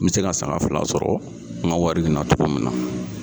N me se ka sanga fila sɔrɔ n ga wari in na togo min na